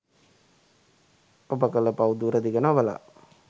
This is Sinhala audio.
ඔබ කල පව් දුරදිග නොබලා